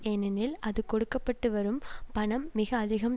ஏனெனில் அது கொடுக்க பட்டு வரும் பணம் மிக அதிகம்